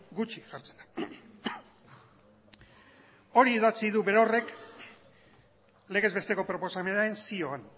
gutxi jartzen da hori idatzi du berorrek legez besteko proposamenean zioan